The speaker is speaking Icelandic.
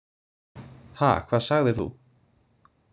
Ha, hvað sagðir þú?